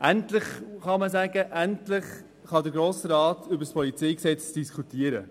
Endlich kann der Grosse Rat über das PolG diskutieren.